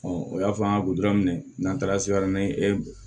o y'a fɔ an ka n'an taara